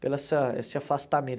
Pelo essa esse afastamento.